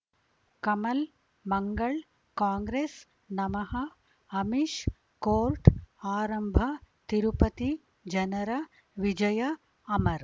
ಕಮಲ್ ಮಂಗಳ್ ಕಾಂಗ್ರೆಸ್ ನಮಃ ಅಮಿಷ್ ಕೋರ್ಟ್ ಆರಂಭ ತಿರುಪತಿ ಜನರ ವಿಜಯ ಅಮರ್